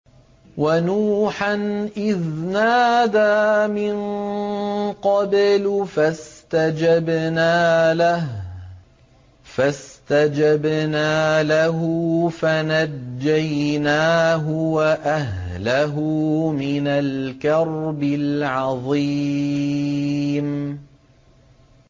وَنُوحًا إِذْ نَادَىٰ مِن قَبْلُ فَاسْتَجَبْنَا لَهُ فَنَجَّيْنَاهُ وَأَهْلَهُ مِنَ الْكَرْبِ الْعَظِيمِ